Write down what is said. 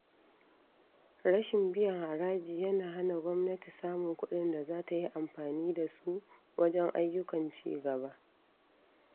Rashin biyan haraji yana hana gwamnati samun kuɗin da za ta yi amfani da su wajen ayyukan cigaba.